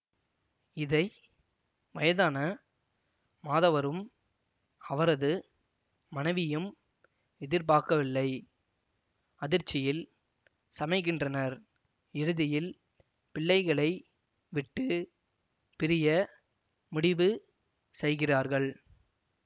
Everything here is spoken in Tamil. இதை வயதான மாதவரும் அவரது மனவியும் எதிர்பார்க்கவில்லை அதிர்ச்சியில் சமைகின்றனர் இறுதியில் பிள்ளைகளை விட்டு பிரிய முடிவு செய்கிறார்கள்